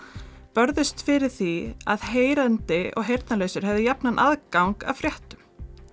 börðust fyrir því að heyrandi og heyrnarlausir hefðu jafnan aðgang að fréttum